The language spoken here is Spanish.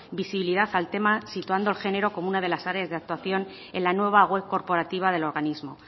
visibilidad al tema situando al género como una de las áreas de actuación en la nueva web corporativa del organismo